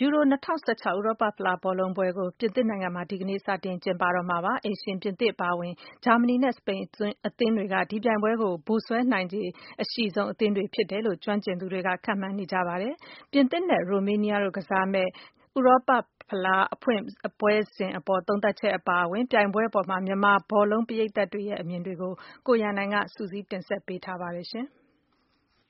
ယူရို ၂၀၁၆ ဥရောပဖလားဘောလုံးပွဲကို ပြင်သစ်နိုင်ငံမှာ ဒီကနေ့ စတင် ကျင်းပတော့မှာဖြစ်ပါတယ်။ အိမ်ရှင်ပြင်သစ်အပါအဝင် ဂျာမနီ နဲ့ စပိန်အသင်းတွေက ဒီပြိုင်ပွဲကို ဗိုလ်စွဲနိုင်ခြေ အရှိဆုံးအသင်းတွေဖြစ်တယ်လို့ ကျွမ်းကျင်သူတွေက ခန့်မှန်းနေကြပါတယ်။ ပြင်သစ် နဲ့ ရိုမေးနီးယားတို့ ကစားမယ့် ဥရောပဖလား အဖွင့်ပွဲစဉ်အပေါ် သုံးသပ်ချက် အပါအဝင် ပြိုင်ပွဲအပေါ် မြန်မာဘောလုံး ပရိတ်သတ်ရဲ့ အမြင်တွေကို ကိုရန်နိုင်က စုစည်းတင်ဆက်ထားပါတယ်။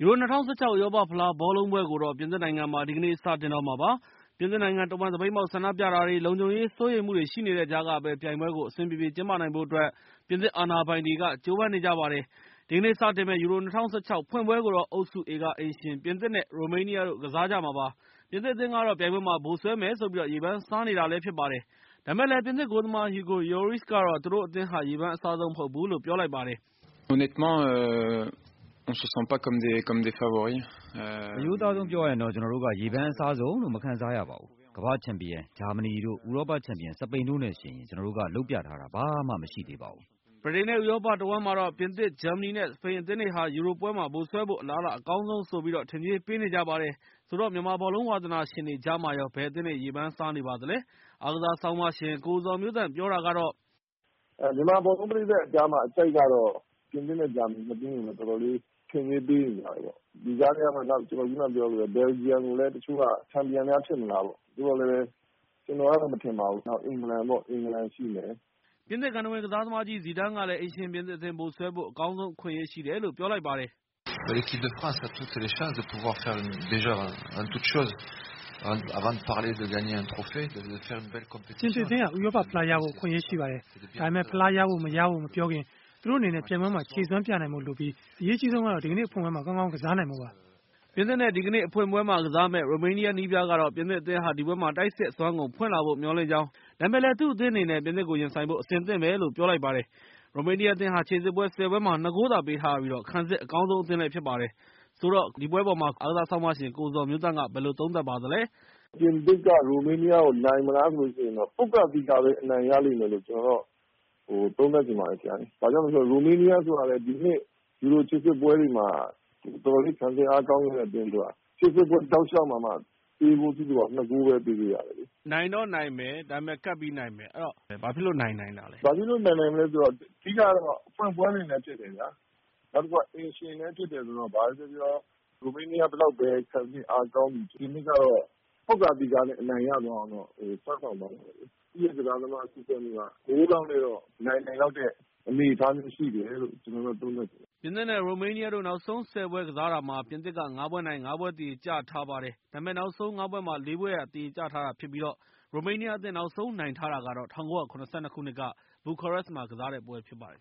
ယူရို ၂၀၁၆ ဥရောပဖလားဘောလုံးပွဲကိုတော့ ပြင်သစ်နိုင်ငံမှာ ဒီကနေ့ စတင်တော့မှာပါ။ ပြင်သစ်နိုင်ငံတဝှမ်း သပိတ်မှောက်ဆန္ဒပြတာတွေ နဲ့ လုံခြုံရေး စိုးရိမ်မှုတွေ ရှိနေတဲ့ကြားကပဲ ၊ ပြိုင်ပွဲကို အဆင်ပြေပြေ ကျင်းပနိုင်ဖို့ အတွက် ပြင်သစ်အာဏာပိုင်တွေက ကြိုးပမ်းနေကြတာပါ။ ဒီကနေ့ စတင်မယ့် ယူရို ၂၀၁၆ ရဲ့ ဖွင့်ပွဲကိုတော့ အုပ်စု A က အိမ်ရှင်ပြင်သစ် နဲ့ ရိုမေးနီးယားတို့ ကစားကြမှာပါ။ ပြင်သစ် အသင်းကတော့ ပြိုင်ပွဲမှာ ဗိုလ်စွဲမယ် ဆိုပြီး ရေပန်းစားနေ တာဖြစ်ပါတယ်။ ဒါပေမဲ့ ပြင်သစ်ဂိုးသမား Hugo Lloris ကတော့ - သူတို့ အသင်းက ရေပန်းအစားဆုံး မဟုတ်ဘူး လို့ပြောလိုက်ပါတယ်။ "အရိုးသားဆုံးပြောရရင်တော့ ကျနော်တို့က ရေပန်းအစားဆုံးလို့ မခံစားရပါဘူး။ ကမ္ဘာ့ချန်ပီယံ ဂျာမနီတို့ ဥရောပချန်ပီယံ စပိန်တို့ နဲ့ ယှဉ်ရင် ကျနော်တို့က လုပ်ပြထားတာ ဘာမှမရှိသေးပါဘူး။" ဗြိတိန် နဲ့ ဥရောပတဝှမ်းမှာတော့ ပြင်သစ်၊ ဂျာမနီ နဲ့ စပိန်အသင်းတွေက ယူရိုပွဲမှာ ဗိုလ်စွဲဖို့ အလားအလာ အကောင်းဆုံးဆိုပြီး ထင်ကြေးပေးနေကြပါတယ်။ ဆိုတော့ မြန်မာဘောလုံး ဝါသနာရှင်တွေကြားမှာရော ဘယ်အသင်းတွေ ရေပန်း စားနေပါသလဲ အားကစားဆောင်းပါးရှင် ကိုဇော်မျိုးသန့်ပြောတာကတော့- " မြန်မာဘောလုံးပရိတ်သတ်အကြားမှာ အကြိုက်ကတော့ ပြင်သစ်နဲ့ ဂျာမနီနှစ်သင်း ကို တော်တော်လေး ထင်ကြေးပေးနေကြတယ်။ ဒီကြားထဲကမှ ခုနက ကျနော်ပြောသလို ဘယ်လ်ဂျီယန်ကိုလည်း တချို့က ချန်ပီယံများ ဖြစ်မလားပေါ့။ သို့သော်လည်း ကျနော်ကတော့ မထင်ပါဘူး နောက်တသင်းကတော့ အင်္ဂလန်ပေါ့ အင်္ဂလန်ရှိမယ်။" ပြင်သစ်ဂန္ထဝင်ကစားကြီး ဇီးဒန်းကလည်း အိမ်ရှင်ပြင်သစ်အသင်း ဗိုလ်စွဲဖို့ အကောင်းဆုံး အခွင့်အရေးရှိတယ်လို့ ပြောလိုက်ပါတယ်။ "ပြင်သစ်အသင်းဟာ ဥရောပဖလားကိုရဖို့အတွက် အခွင့်အရေးရှိပါတယ်။ ဒါပေမဲ့ ဖလားရဖို့ မရဖို့ မပြောခင်သူတို့အနေနဲ့ ပြိုင်ပွဲမှာ ခြေစွမ်းပြနိုင်ဖို့လိုပြီး၊ အရေးကြီးဆုံး ကတော့ ဒီကနေ့အဖွင့်ပွဲမှာကောင်းကောင်းကစားပြီးနိုင်ဖို့ပါ။" ပြင်သစ် နဲ့ ဒီကနေ့ အဖွင့်ပွဲမှာ ကစားရမယ့် ရိုမေးနီးယားနည်းပြကတော့ - ပြင်သစ်အသင်း ဟာ ဒီပွဲမှာ တိုက်စစ်အစွမ်းကုန်ဖွင့်လာဖို့မျှော်လင့်ကြောင်း ၊ ဒါပေမဲ့ သူ့အသင်းအနေနဲ့ ပြင်သစ်ကို ရင်ဆိုင်ဖို့ အဆင်သင့်ဖြစ်နေပြီလို့ ပြောလိုက်ပါတယ်။ ရိုမေးနီးယား အသင်းဟာ ခြေစစ်ပွဲ ၁၀ ပွဲမှာ ၂ ဂိုးသာ ပေးထားရပြီး ခံစစ် အကောင်းဆုံး အသင်းဖြစ်ပါတယ်။ ဆိုတော့ ဒီပွဲအပေါ် ကိုဇော်မျိုးသန့်က ဘယ်လိုသုံးသပ်ပါသလဲ။ "ပြင်သစ်က ရိုမေးနီးယား ကို နိုင်မလားဆိုတော့ ပွတ်ကာသီကာပဲ အနိုင်ရလိမ့်မယ်လို့ ကျနော်ကတော့ သုံးသပ်ချင်ပါတယ်။ ဘာကြောင့်လဲဆိုတော့ ရိုမေးနီးယား ဆိုတာကလည်း ဒီနှစ် ယူရိုခြေစစ်ပွဲတွေမှာ တော်တော်လေး ခံစစ်အားကောင်းခဲ့တာ။ ခြေစစ်ပွဲတောက်လျောက်မှာ သွင်းဂိုးက နှစ်ဂိုးပဲ ပေးခဲ့ရတာလေ။" ရန်နိုင်။ ။ နိုင်တော့နိုင်မယ်။ ဒါပေမဲ့ ကပ်ပြီးတော့ နိုင်မယ်။ အဲ့တော့ ဘာဖြစ်လို့ နိုင်နိုင်တာလဲ။ " ဘာဖြစ်လို့ နိုင် နိုင်လဲဆိုတော့ အဓိက က ဖွင့်ပွဲနေ့လည်း ဖြစ် တယ်ဗျာ။ နောက်တခုက အိမ်ရှင်လည်း ဖြစ်တယ်ဆိုတော့ ဘာပဲပြောပြော ရိုမေးနီးယား ဘယ်လောက်ပဲ ခံစစ်အားကောင်းသည်ဖြစ်စေ ပြင်သစ်ကတော့ ပွတ်ကာသီကာနဲ့ အနိုင်ရအောင်တော့ စွမ်းဆောင်သွားမယ်။ တစ်ဂိုးလောက်နဲ့တော့ နိုင်နိုင်တဲ့ အနေအထားလောက်တော့ရှိတယ်လို့ ကျနော်ကတော့ သုံးသပ်တယ်။ " ပြင်သစ် နဲ့ ရိုမေးနီးယားတို့ နောက်ဆုံး ၁၀ ပွဲကစားတာမှာ ပြင်သစ်က ၅ ပွဲ နိုင် ၅ ပွဲ သရေကျထားပါတယ်။ ဒါပေမဲ့ နောက်ဆုံး ၅ ပွဲမှာ ၄ ပွဲ သရေကျထားပြီး ရိုမေနီးယားအသင်း နောက်ဆုံးနိုင်ထားတာကတော့ ၁၉၇၂ ခုနှစ်က ဘူခါရက်စ်မှာ ကစားတဲ့ပွဲ ဖြစ်ပါတယ်